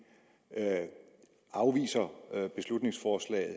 afviser beslutningsforslaget